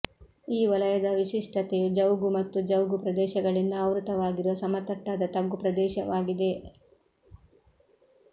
ಈ ವಲಯದ ವಿಶಿಷ್ಟತೆಯು ಜೌಗು ಮತ್ತು ಜೌಗು ಪ್ರದೇಶಗಳಿಂದ ಆವೃತವಾಗಿರುವ ಸಮತಟ್ಟಾದ ತಗ್ಗು ಪ್ರದೇಶವಾಗಿದೆ